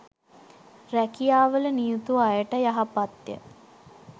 රැකියාවල නියුතු අයට යහපත්ය.